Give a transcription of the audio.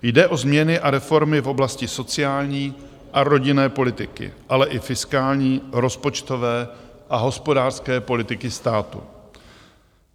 Jde o změny a reformy v oblasti sociální a rodinné politiky, ale i fiskální, rozpočtové a hospodářské politiky státu.